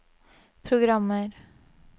programmer